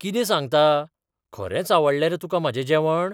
कितें सांगता? खरेंच आवडलें रे तुका म्हाजें जेवण?